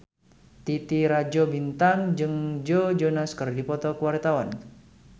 Titi Rajo Bintang jeung Joe Jonas keur dipoto ku wartawan